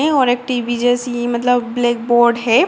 नहीं और एक टी.वी. जैसी मतलब ब्लैक बोर्ड है।